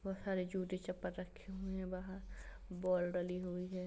बाहर जूते चप्पल रखे हुए हैं बाहर बॉल डली हुई हैं।